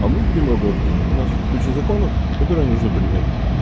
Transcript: а мы будем работать у нас куча законов которые нужно принять